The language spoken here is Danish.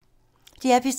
DR P3